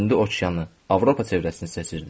indi okeanı, Avropa çevrəsini seçirdim.